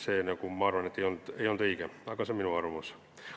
See, ma arvan, ei olnud õige, aga see on minu arvamus.